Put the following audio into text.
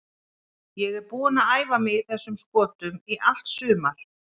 Ég er búinn að æfa mig í þessum skotum í allt sumar.